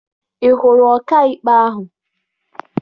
Ị hụrụ ọkaikpe ahụ?